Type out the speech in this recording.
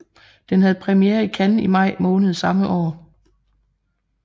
Den havde premiere i Cannes i maj måned samme år